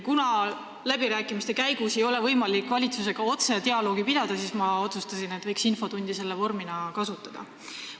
Kuna läbirääkimiste käigus ei ole võimalik valitsusega otse dialoogi pidada, siis ma otsustasin infotunni vormi kasutada.